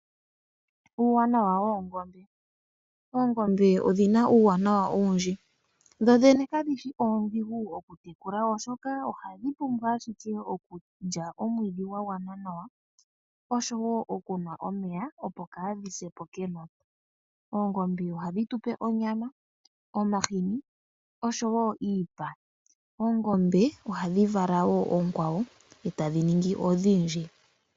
Uuwanawa woongombe, oongombe odhi na uuwanawa owundji. Dho dhene kadhi shi oondhigu okutekula oshoka ohadhi pumbwa ashike okulya omwiidhi gwa gwana nawa oshowo okunwa omeya opo kaadhi se po kenota. Oongombe ohadhi tu pe onyama, omahini oshowo iipa. Oongombe ohadhi vala wo oonkwawo e tadhi ningi odhindji.